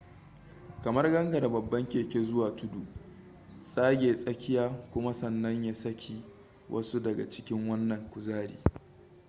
kamar gangara babban keke zuwa tudu tsage tsakiya kuma sannan ya saki wasu daga cikin wannan kuzari